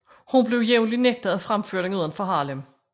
Hun blev jævnlig nægtet at fremføre den uden for Harlem